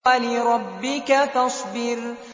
وَلِرَبِّكَ فَاصْبِرْ